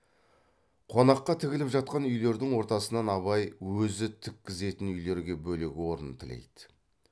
қонаққа тігіліп жатқан үйлердің ортасынан абай өзі тіккізетін үйлерге бөлек орын тілейді